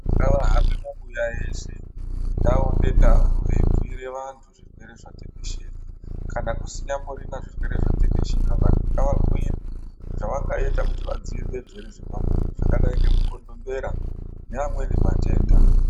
Ngavahambe mabuya ese, ndau ngendau veibhuire vantu zvirwere zvatekeshera kana kusinyamborina zvirwere zvatekeshera, vantu ngavabhuirwe zvavangaite kuti vadzivirire zvirwere zvepabonde zvakadai ngemukondombera neamweni matenda.